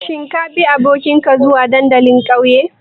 Shin kabi abokinka zuwa dandalin ƙauyen?